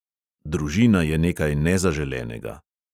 Družina je nekaj nezaželenega.